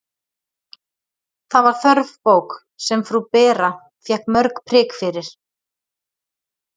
Það var þörf bók, sem frú Bera fékk mörg prik fyrir.